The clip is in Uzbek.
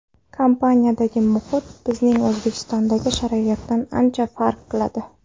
Kompaniyadagi muhit bizning O‘zbekistondagi sharoitdan ancha farq qiladi.